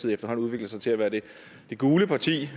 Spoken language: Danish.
efterhånden udviklet sig til at være det gule parti